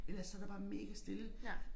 Ellers så der bare megastille